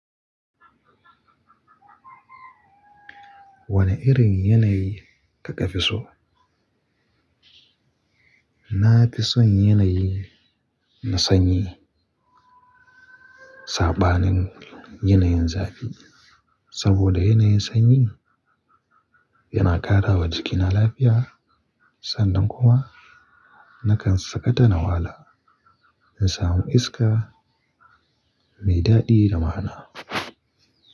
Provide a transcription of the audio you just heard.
Wane irin yanayi kaka fi so? Na fi son yanayi na sanyi saɓanin yanayin zafi. Saboda yanayin sanyi yana ƙara wa jikina lafiya, sannan kuma nakan sakata na wahala in samu iska mai daɗi da ma'ana.